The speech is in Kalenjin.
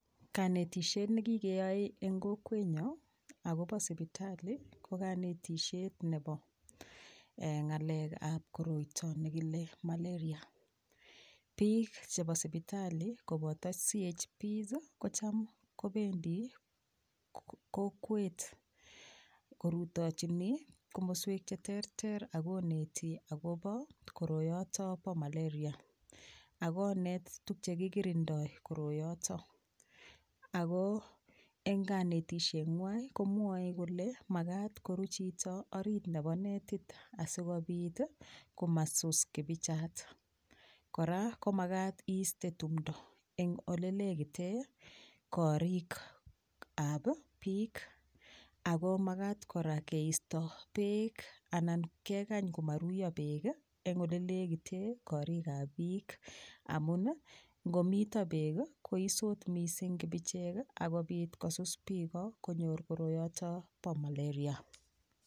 Kanetishet nekikeyoee eng kokwenyo akobo sipitali ko kanetishet nebo ngalek ab koroito nebo malaria piik chebo sipitali koboto CHP ko Cham kobendi kokwet korutochinii komoswek che terter akoneti akobo koroyoto bo malaria akoneti tukche kikirindoi koroyoto ako eng kanetishengwai komwoe kole makat koru chito orit nebo netit asikopiit komasus kibichat kora komakat iiste tumdo eng ole leketee korok ab piik ako makat kora keisto beek anan kekany komaruiyo beek eng ole lekitee koriik ab piik amun ngomito beek koisot mising kibichek okobit kosus piiko konyor koroyoto bo malaria